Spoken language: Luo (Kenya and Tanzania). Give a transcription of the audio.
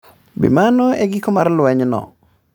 Be mano e giko mar lwenyno?